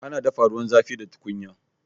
Ana dafa ruwan zafi da tukunya